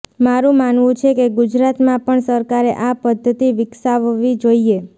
મારું માનવું છે કે ગુજરાતમાં પણ સરકારે આ પદ્ધતિ વિકસાવવી જોઈએ